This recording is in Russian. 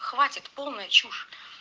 хватит полная чушь